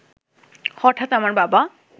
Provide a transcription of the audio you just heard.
হঠাৎ আমার বাবা